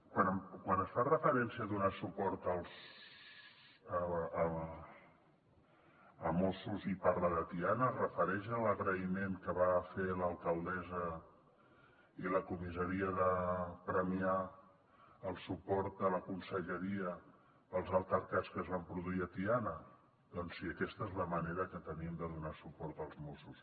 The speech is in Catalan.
quan es fa referència a donar suport a mossos i parla de tiana es refereix a l’agraïment que va fer l’alcaldessa i la comissaria de premià al suport a la conselleria pels altercats que es van produir a tiana doncs sí aquesta és la manera que tenim de donar suport als mossos